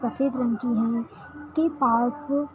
सफेद रंग की है जिसके पास।